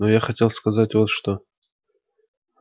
но я хотел сказать вот что